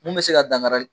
Mun bɛ se ka dankari